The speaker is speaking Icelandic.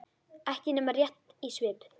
Ekki nema rétt í svip.